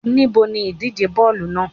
Níbo ni ìdíje bóòlù naa?